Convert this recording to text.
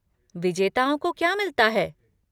विजेताओं को क्या मिलता है?